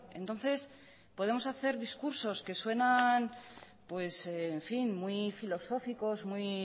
entonces podemos hacer discursos que suenan muy filosóficos muy